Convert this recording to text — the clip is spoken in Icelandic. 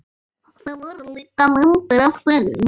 Það voru líka myndir af þeim.